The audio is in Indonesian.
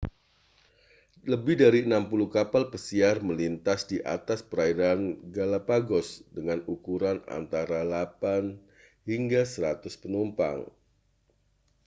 lebih dari 60 kapal pesiar melintas di atas perairan galapagos dengan ukuran antara 8 hingga 100 penumpang